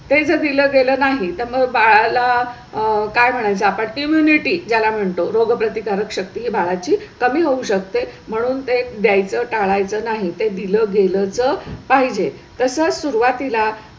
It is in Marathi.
ते जर दिलं गेलं नाही तर मग बाळाला आह काय म्हणायच आता? immunity ज्याला म्हणतो रोगप्रतिकारक शक्ती बाळाची कमी होऊ शकते म्हणून ते घ्यायचं टाळयाच नाही ते दिलं गेलंच पाहिजे तसं सुरुवातीला.